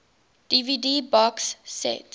dvd box set